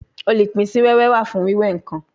Olupin si wewe wa fun wiwe nkan